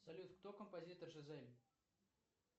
салют кто композитор жизель